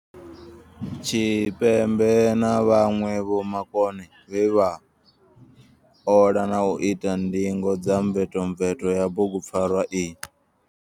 Tshipembe na vhaṅwe vhomakone vhe vha ola na u ita ndingo dza mvetomveto ya bugupfarwa iyi.